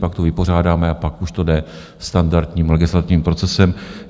Pak to vypořádáme a pak už to jde standardním legislativním procesem.